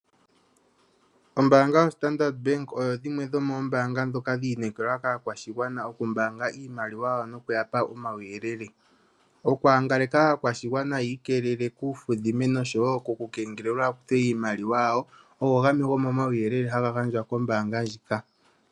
Ombaanga yoStandard Bank Oyo yimwe yomoombanga ndhoka dhi inekelwa kaakwashigwana okumbaanga iimaliwa yawo nokuya pa omauyelele. Okwaangaleka aakwashigwana yi ikeelele kuufudhime nosho wo koku kengelelwa yakuthwe iimaliwa yawo. Ngaka gamwe gomo mauyelele haga gandjwa kombaanga ndjika.